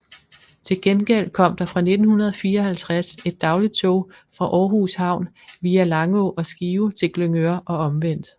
Til gengæld kom der fra 1954 et dagligt tog fra Århus Havn via Langå og Skive til Glyngøre og omvendt